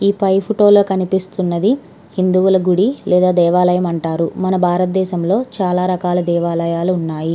ఈ పై ఫోటో లో కనిపిస్తునది ఒక గుడి దేని దేవాలయం అంటారు మన భారత దేశం లో ఒక దేవాలయం వుంది. .>